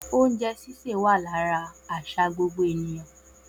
Oúnjẹ ṣíṣe wa lára àṣà gbogbo ènìyàn